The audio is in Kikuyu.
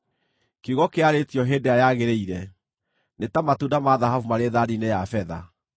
Kiugo kĩarĩtio hĩndĩ ĩrĩa yagĩrĩire nĩ ta matunda ma thahabu marĩ thaani-inĩ ya betha.